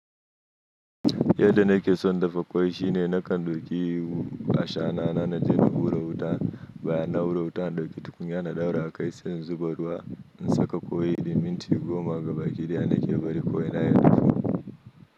Yadda na ke son dafa kwai shine na kan doƙi a sha na, na je na hura wuta, bayan na hura wuta, doƙi tukunya na daura a kai sai in zuba ruwa in saka ƙwai yayi minti goma gabaki ɗaya na ke bari ko ina ya dahu.